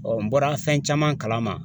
n bɔra fɛn caman kalama